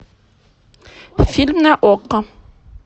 фильм на окко